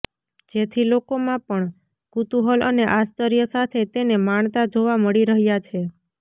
જેથી લોકો માં પણ કુતુહલ અને આશ્ચર્ય સાથે તેને માણતા જોવા મળી રહ્યા છે